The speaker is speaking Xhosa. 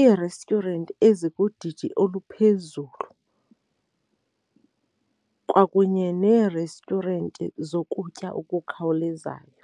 ii-restaurant ezikudidi oluphezulu kwakunye nee-restaurant zokutya okukhawulezayo.